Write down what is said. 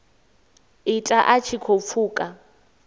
ita a tshi khou pfuka